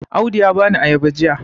Audu ya bani ayaba jiya